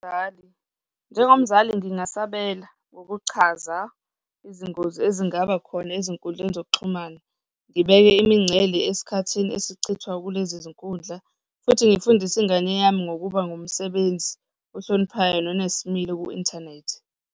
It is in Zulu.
Njengomzali ngingasabela ngokuchaza izingozi ezingaba khona ezinkundleni zokuxhumana. Ngibeke imingcele esikhathini esichithwa kulezinkundla futhi ngifundise ingane yami ngokuba ngumsebenzi ohloniphayo nonesimilo ku-inthanethi.